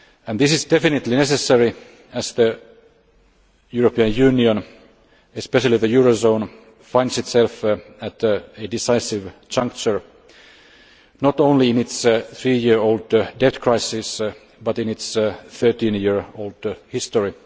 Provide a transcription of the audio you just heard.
This is definitely necessary as the European Union, especially the eurozone, finds itself at a decisive juncture, not only in its three year old debt crisis but in its thirteen year old history.